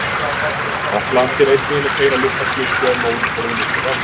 Rafhlaðan sér einnig um að keyra litla klukku ef móðurborðið missir rafmagn.